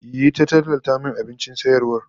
Yi ta tallata min abincin sayarwar